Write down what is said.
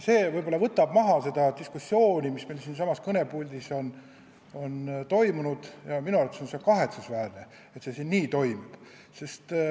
See võib-olla jahutab seda diskussiooni, mis meil siinsamas kõnepuldis on toimunud, ja minu arvates on kahetsusväärne, et on toimunud.